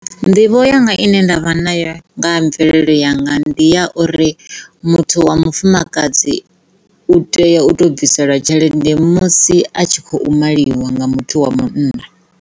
Nḓivho yanga ine nda vha nayo nga ha mvelelo yanga ndi ya uri muthu wa mufumakadzi u tea u to bviselwa tshelede musi a tshi kho maliwa nga muthu wa munna.